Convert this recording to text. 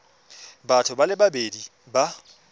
batho ba le babedi ba